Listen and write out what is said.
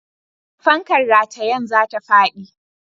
Fankar ratayen za ta faɗi.